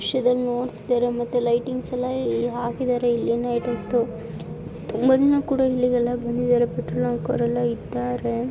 ಮತ್ತೆ ಲೈಟಿಂಗ್ಸ್‌ ಎಲ್ಲಾ ಇಲ್ಲಿ ಹಾಕಿದ್ದಾರೆ ನೈಟ್ ಹೊತ್ತು ತುಂಬಾ ಜನ ಕೂಡ ಇಲ್ಲಿ ಜನ ಬಂದಿದ್ದಾರೆ. ಫೋಟೋಗ್ರಾಫರ್ ಎಲ್ಲ ಇದ್ದಾರೆ.